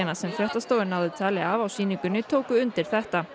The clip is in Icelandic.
sem fréttastofa náði tali af á sýningunni tóku undir þetta